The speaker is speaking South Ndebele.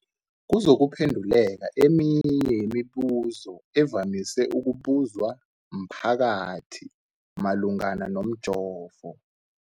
kuzokuphe nduleka eminye yemibu zo evamise ukubuzwa mphakathi malungana nomjovo.